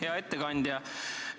Hea ettekandja!